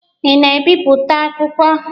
Ị na-ebipụta akwụkwọ?